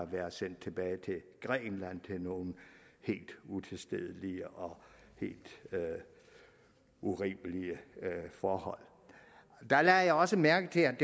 været sendt tilbage til grækenland til nogle helt utilstedelige og helt urimelige forhold der lagde jeg også mærke til at